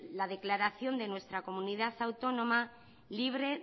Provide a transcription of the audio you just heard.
la declaración de nuestra comunidad autónoma libre